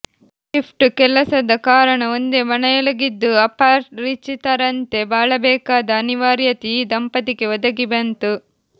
shift ಕೆಲಸದ ಕಾರಣ ಒಂದೇ ಮನೆಯೊಳಗಿದ್ದೂ ಅಪರಿಚಿತರಂತೆ ಬಾಳಬೇಕಾದ ಅನಿವಾರ್ಯತೆ ಈ ದಂಪತಿಗೆ ಒದಗಿಬಂತು